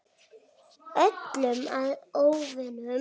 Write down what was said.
Öllum að óvörum.